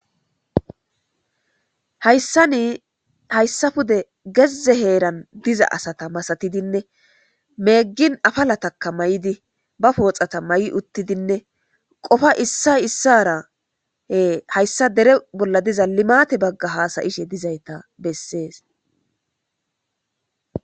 hayssani hayssa pude gezze heeran diza asata masatidinne meeggin afalataka maydi ba pooxata may uttidinne qopa issay issarae hayssa dere bolla diza limate bagga haasayishe dizayta bessees